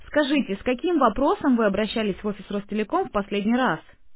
скажите с каким вопросом вы обращались в офис ростелеком в последний раз